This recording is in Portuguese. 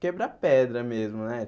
quebra-pedra mesmo, né?